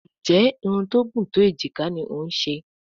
Nje Irun tó gún tó ejika ní o ń ṣe?